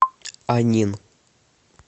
анин